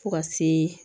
Fo ka se